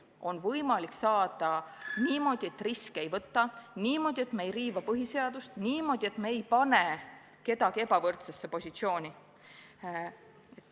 Neid on võimalik saavutada niimoodi, et riske ei võta, niimoodi, et me ei riiva põhiseadust, niimoodi, et me ei pane kedagi ebavõrdsesse positsiooni.